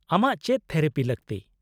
-ᱟᱢᱟᱜ ᱪᱮᱫ ᱛᱷᱮᱨᱟᱯᱤ ᱞᱟᱹᱠᱛᱤ ?